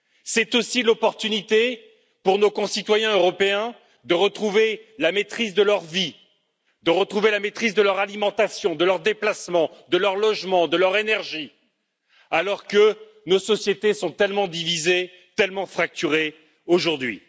C'est aussi l'opportunité, pour nos concitoyens européens, de retrouver la maîtrise de leur vie, de retrouver la maîtrise de leur alimentation, de leurs déplacements, de leur logement, de leur énergie, alors que nos sociétés sont tellement divisées, tellement fracturées aujourd'hui.